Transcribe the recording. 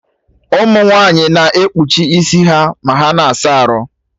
Ụmụ nwaanyị na ekpuchi isi ha ma ha na-asa arụ